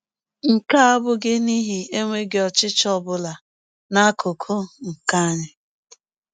Nke a abụghị n’ihi enweghị ọchịchọ ọ bụla n’akụkụ nke anyị.